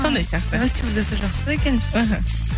сондай сияқты ой стюардесса жақсы екен іхі